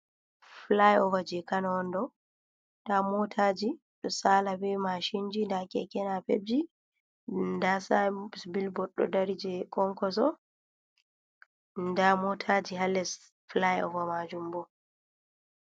Fulai ova je kano on ɗo, da motaji ɗo sala be mashinji, da keke napebji, da sai bilbod ɗo dari je Kwankoso, da motaji hales fulai ova majum bo.